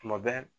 Tuma bɛɛ